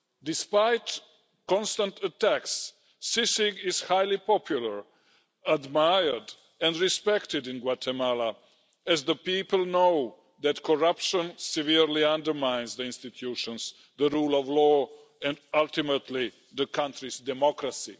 Despite constant attacks, CICIG is very popular, admired and respected in Guatemala as the people know that corruption severely undermines the institutions, the rule of law and ultimately the country's democracy.